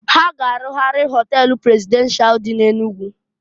Ha ga-arụgharị họtel prezidenshal dị n'Enugu.